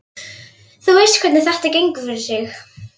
Þú veist hvernig þetta gengur fyrir sig.